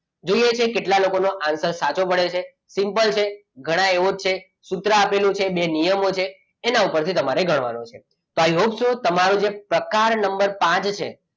જોઈએ છે કેટલા લોકોનો આન્સર સાચો પડે છે સિમ્પલ છે ગણાય એવો જ છે સૂત્ર આપેલું છે બે નિયમો છે એના ઉપરથી તમારે ગણવાનું છે i hope so તમારો જે પ્રકાર નંબર પાંચ છે,